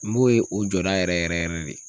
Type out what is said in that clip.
N b'o ye o jɔda yɛrɛ yɛrɛ yɛrɛ de.